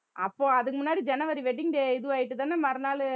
அப்போ அதுக்கு முன்னாடி ஜனவரி wedding day இது ஆயிட்டுதானே மறுநாளு